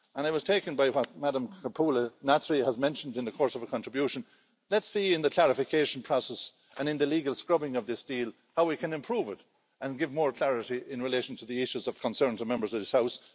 And I was taken by what Madame Kumpula Natri has mentioned in the course of a contribution. Let's see in the clarification process and in the legal scrubbing of this deal how we can improve it and give more clarity in relation to the issues of concern to Members of this House.